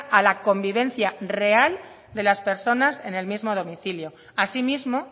a la convivencia real de las personas en el mismo domicilio asimismo